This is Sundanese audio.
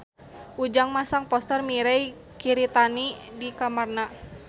Ujang masang poster Mirei Kiritani di kamarna